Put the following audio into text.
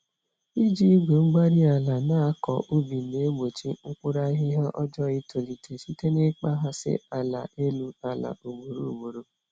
Iji Igwe-mgbárí-ala nakọ ubi na-egbochi mkpụrụ ahihia ọjọọ itolite site na ịkpaghasị ala elu àlà ugboro ugboro